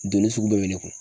Donni sugu bɛɛ bɛ ne kun.